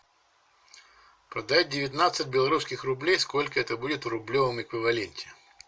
продать девятнадцать белорусских рублей сколько это будет в рублевом эквиваленте